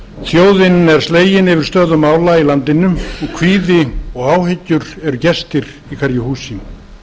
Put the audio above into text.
íslendingar þjóðin er slegin yfir stöðu mála í landinu og kvíði og áhyggjur eru gestir í hverju húsi hlutverk